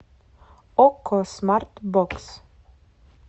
окко смарт бокс